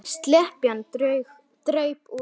Slepjan draup úr opinu.